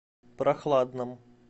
прохладном